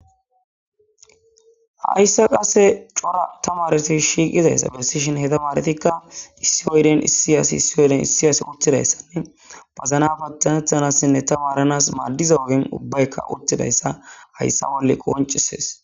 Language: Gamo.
Hayssa qase cora ta maareti shiiqizayssa besishin heta maaretikka issi oyden issi asi issioyeden issi asi uttidayssanne pazana pattanethanassinne ta maaranas maaddiza ogin ubbaykka uttidayssa hayssa wolle qoncisees.